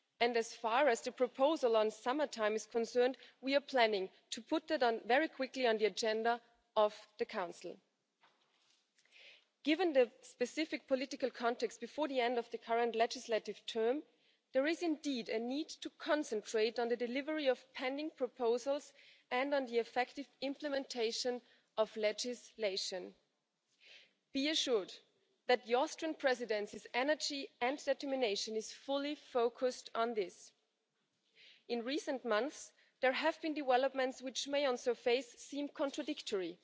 As far as the proposal on summertime is concerned, we are planning to put that on the Council's agenda very soon. Given the specific political context, before the end of the current parliamentary term, there is indeed a need to concentrate on the delivery of pending proposals and on the effective implementation of legislation. Be assured that the Austrian Presidency's energy and determination is fully focused on this. In recent months, there have been developments which may on the surface seem contradictory.